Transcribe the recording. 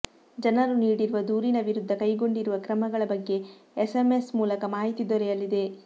ಜನರು ನೀಡಿರುವ ದೂರಿನ ವಿರುದ್ಧ ಕೈಗೊಂಡಿರುವ ಕ್ರಮಗಳ ಬಗ್ಗೆ ಎಸ್ಎಂಎಸ್ ಮೂಲಕ ಮಾಹಿತಿ ದೊರೆಯಲಿದೆ